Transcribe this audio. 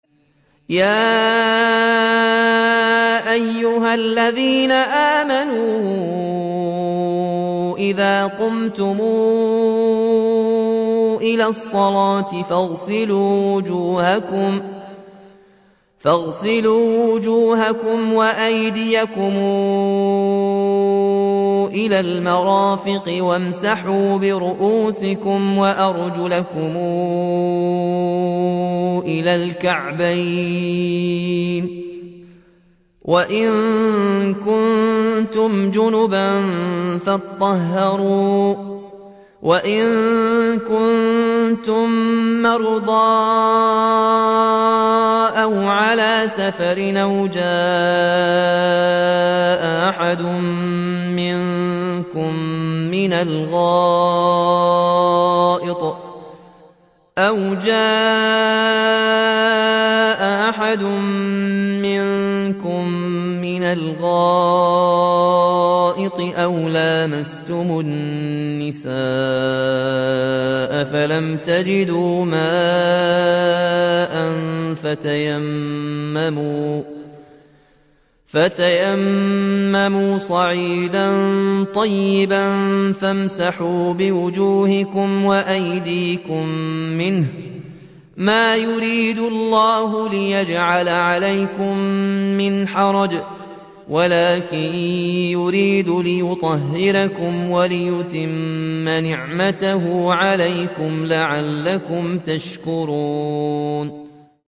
يَا أَيُّهَا الَّذِينَ آمَنُوا إِذَا قُمْتُمْ إِلَى الصَّلَاةِ فَاغْسِلُوا وُجُوهَكُمْ وَأَيْدِيَكُمْ إِلَى الْمَرَافِقِ وَامْسَحُوا بِرُءُوسِكُمْ وَأَرْجُلَكُمْ إِلَى الْكَعْبَيْنِ ۚ وَإِن كُنتُمْ جُنُبًا فَاطَّهَّرُوا ۚ وَإِن كُنتُم مَّرْضَىٰ أَوْ عَلَىٰ سَفَرٍ أَوْ جَاءَ أَحَدٌ مِّنكُم مِّنَ الْغَائِطِ أَوْ لَامَسْتُمُ النِّسَاءَ فَلَمْ تَجِدُوا مَاءً فَتَيَمَّمُوا صَعِيدًا طَيِّبًا فَامْسَحُوا بِوُجُوهِكُمْ وَأَيْدِيكُم مِّنْهُ ۚ مَا يُرِيدُ اللَّهُ لِيَجْعَلَ عَلَيْكُم مِّنْ حَرَجٍ وَلَٰكِن يُرِيدُ لِيُطَهِّرَكُمْ وَلِيُتِمَّ نِعْمَتَهُ عَلَيْكُمْ لَعَلَّكُمْ تَشْكُرُونَ